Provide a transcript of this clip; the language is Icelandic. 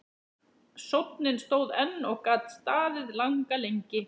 Sónninn stóð enn og gat staðið langa lengi.